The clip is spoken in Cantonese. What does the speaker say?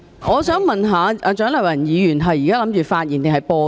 我想問蔣麗芸議員現在是打算發言還是播放錄音？